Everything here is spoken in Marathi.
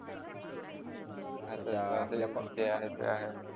आता त्या जे आहे ते आहे